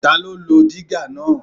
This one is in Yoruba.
Ta ló lo dígà náà?